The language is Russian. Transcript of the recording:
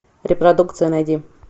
репродукция найди